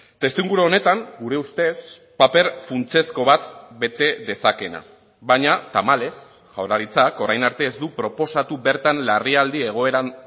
testuinguru honetan gure ustez paper funtsezko bat bete dezakeena baina tamalez jaurlaritzak orain arte ez du proposatu bertan larrialdi egoeran